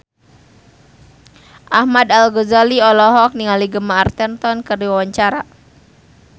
Ahmad Al-Ghazali olohok ningali Gemma Arterton keur diwawancara